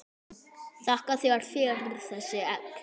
Þakka þér fyrir þessi egg.